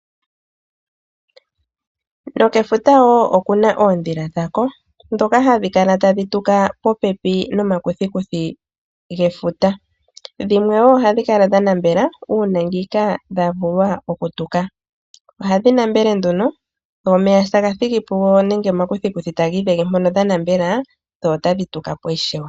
Nokefuta wo okuna oondhila dhako ndhoka hadhi kala tadhi tuka popepi nomakuthikuthi gefuta. Dhimwe wo ohadhi kala dha nambela uuna ngiika dha vulwa okutuka. Ohadhi nambele nduno go omeya shi taga thiki kudho nenge omakuthikuthi taga idhenge mpono dha nambela dho otadhi tukapo ishewe.